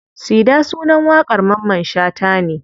Sida sunan waƙar mamman shata ne.